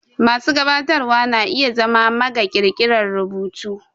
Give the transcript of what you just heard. Masu gabatarwa na iya zama maga ƙirƙirar rubutu.